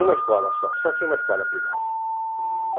Uma escola só, só tinha uma escola primária. Hmm.